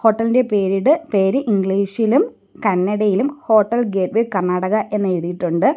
Hotel ഇൻ്റെ പെരിഡ് പേര് ഇംഗ്ലീഷിലും കന്നടയിലും ഹോട്ടൽ ഗേറ്റ് വേ കർണാടക എന്ന് എഴുതിയിട്ടുണ്ട്.